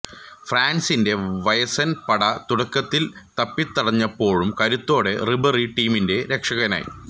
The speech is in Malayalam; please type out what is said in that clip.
ഫ്രാൻസിന്റെ വയസ്സൻ പട തുടക്കത്തിൽ തപ്പിത്തടഞ്ഞപ്പോളും കരുത്തോടെ റിബറി ടീമിന്റെ രക്ഷകനായി